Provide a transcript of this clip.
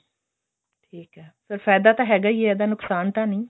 ਠੀਕ ਐ ਫੇਰ ਫਾਇਦਾ ਤਾਂ ਹੈਗਾ ਈ ਐ ਇਹਦਾ ਨੁਕਸਾਨ ਤਾਂ ਨਹੀਂ